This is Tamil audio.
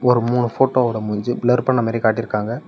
ஒரு மூணு போட்டோவோட மூஞ்சி பிளர் பண்ணமாரி காட்டிருக்காங்க.